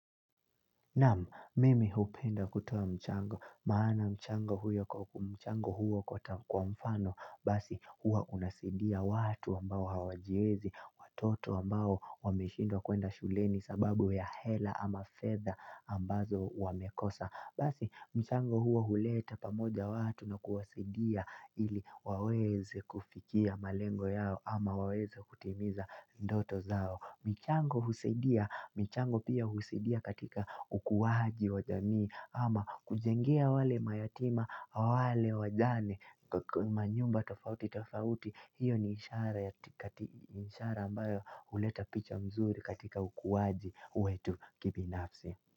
Naam, mimi hupenda kutowa mchango, maana mchango huyo kwa mchango huo kwa mfano, basi hua unasaidia watu ambao hawajiwezi, watoto ambao wameshindwa kwenda shuleni sababu ya hela ama fedha ambazo wamekosa. Basi, mchango huo huleta pamoja watu na kuwasidia ili waweze kufikia malengo yao ama waweze kutimiza ndoto zao. Michango husaidia, mchango pia husaidia katika ukuwaji wa jamii ama kujengea wale mayatima, wale wajane, manyumba tofauti tofauti, hiyo ni ishara ambayo huleta picha mzuri katika ukuwaji wetu kibinafsi.